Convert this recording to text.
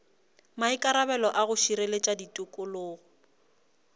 maikarabelo a go šireletša tikologo